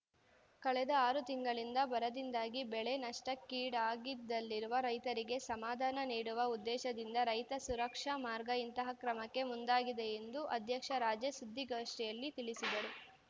ಕಳೆದ ಆರು ತಿಂಗಳಿಂದ ಬರದಿಂದಾಗಿ ಬೆಳೆ ನಷ್ಠಕ್ಕೀಡಾಗಿದಲ್ಲಿರುವ ರೈತರಿಗೆ ಸಮಾಧಾನ ನೀಡುವ ಉದ್ದೇಶದಿಂದ ರೈತ ಸುರಕ್ಷಾ ಮಾರ್ಗ ಇಂತಹ ಕ್ರಮಕ್ಕೆ ಮುಂದಾಗಿದೆ ಎಂದು ಅಧ್ಯಕ್ಷ ರಾಜೇಶ್ ಸುದ್ಧಿಗೋಷ್ಠಿಯಲ್ಲಿ ತಿಳಿಸಿದರು